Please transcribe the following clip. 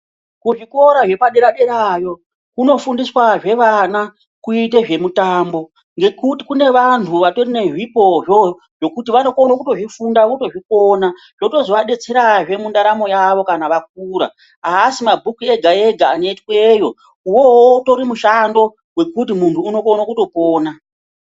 Kuzvikora zvepadera derayo kunofundiswazve vana kuite zvemitambo ngekuti kune vantu vatori nezvipo zvo zvekuti vanokone kutozvifunda votozvikona zvotozoadetserazve mundaramo yavo kana vakura aasi mabhuku ega ega ane twero uwowowo utori mushando wekuti muntu unokone kutopona.